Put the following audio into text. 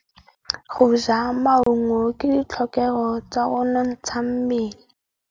Go ja maungo ke ditlhokegô tsa go nontsha mmele.